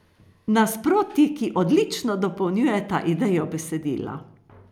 Nasprotji, ki odlično dopolnjujeta idejo besedila.